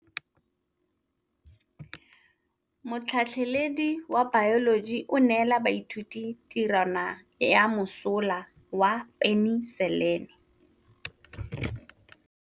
Motlhatlhaledi wa baeloji o neela baithuti tirwana ya mosola wa peniselene.